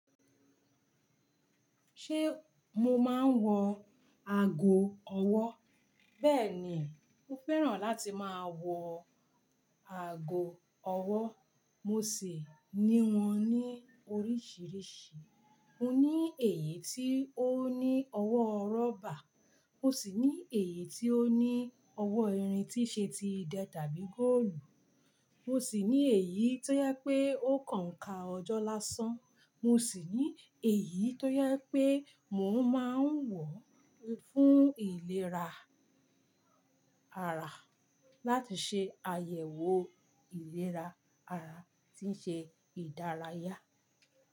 Ṣé mo máa ń wọ aago ọwọ́? Bẹ́ẹ̀ni, mo fẹ́ràn láti máa wọ aago ọwọ́, mo sì ní wọn ní oríṣiríṣi. Mo ní èyí tí ó ní ọwọ́ rọ́bà, mo sì ní èyí tí ó ní ọwọ́ irin tíi ṣe ti idẹ tàbí góòlù, mo sì ní èyí tó jẹ pé ó kàn ka ọjọ́ lásán, mo sì ní èyí tó jẹ pé mò ń máa ń wọ̀ fún ìlera ara, láti ṣe àyẹ̀wò ìlera ara tí ń ṣe ìdárayá.